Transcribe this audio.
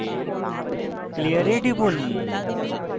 clear এ টিপুন